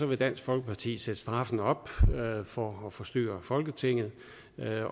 vil dansk folkeparti sætte straffen op for at forstyrre folketinget